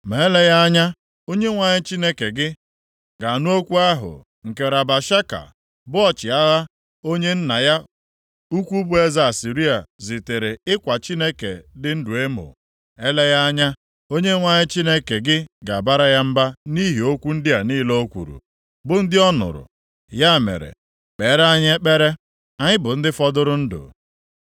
Ma eleghị anya Onyenwe anyị Chineke gị, ga-anụ okwu ahụ nke Rabashaka, bụ ọchịagha, onye nna ya ukwu bụ eze Asịrịa, zitere ịkwa Chineke dị ndụ emo. Eleghị anya Onyenwe anyị Chineke gị ga-abara ya mba nʼihi okwu ndị a niile o kwuru, bụ ndị ọ nụrụ. Ya mere, kpeere anyị ekpere, anyị bụ ndị fọdụrụ ndụ.”